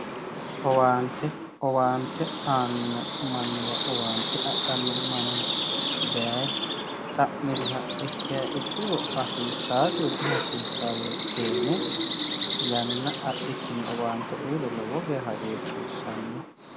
owante owante aano manniwa owante adhanno manni daye dhamiriha ikkiya ikkiro hasiisasiyo dihasiisao yee keene yanna adhikinni owante uyiiro lowo geya hasissanno